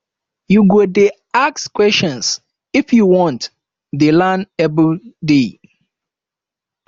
you go dey ask questions if you want dey learn everyday